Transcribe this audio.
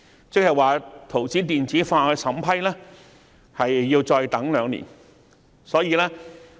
這即是說，圖紙的電子化審批要再等兩年才可落實。